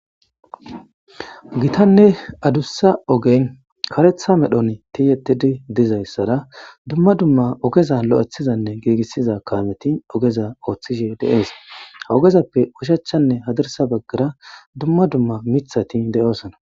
Gitanne adussa ogen karetha medhon tiyetidi dizayssara dumma dumma ogeza lo7ethizanne geegissiza kaameti ogeza ooththishe deeesa hawogezappe ushachchanne hadirsa baggara dumma dumma mithati de7oosana.